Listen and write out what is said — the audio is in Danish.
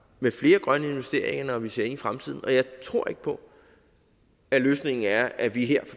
med flere grønne investeringer når vi ser ind i fremtiden og jeg tror ikke på at løsningen er at vi her